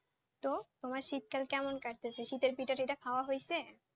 তো তোমার শীতকাল কেমন কাটছে? শীতের পিঠাটিঠা খাওয়া হচ্ছে?